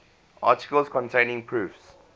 articles containing proofs